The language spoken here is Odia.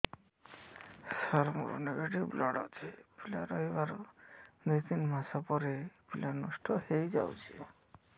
ସାର ମୋର ନେଗେଟିଭ ବ୍ଲଡ଼ ଅଛି ପିଲା ରହିବାର ଦୁଇ ତିନି ମାସ ପରେ ପିଲା ନଷ୍ଟ ହେଇ ଯାଉଛି